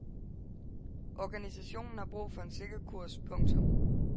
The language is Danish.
Organisationen har brug for en sikker kurs. punktum